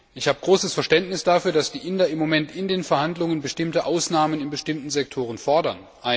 Ich habe großes Verständnis, dass die Inder im Moment in den Verhandlungen bestimmte Ausnahmen in bestimmten Sektoren fordern.